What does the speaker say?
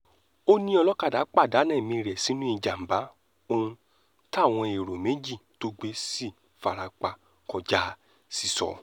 ó ní olókàdá pàdánù ẹ̀mí rẹ̀ sínú ìjàm̀bá ohun táwọn èrò méjì tó gbé sì fara pa kọjá sísọ